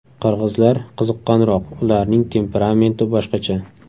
Qirg‘izlar qiziqqonroq, ularning temperamenti boshqacha.